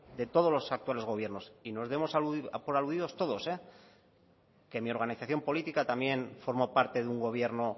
de todos los actuales gobiernos y nos debemos dar por aludidos todos eh que mi organización política también forma parte de un gobierno